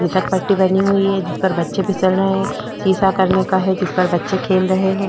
पट्टी बनी हुई है जिस पर बच्चे फिसल रहे है सीसो करने का है जिस पर बच्चे खेल रहे है।